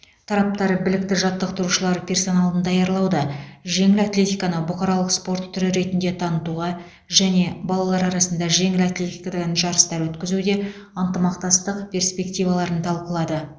тараптар білікті жаттықтырушылар персоналын даярлауда жеңіл атлетиканы бұқаралық спорт түрі ретінде танытуға және балалар арасында жеңіл атлетикадан жарыстар өткізуде ынтымақтастық перспективаларын талқылады